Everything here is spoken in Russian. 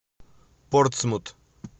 портсмут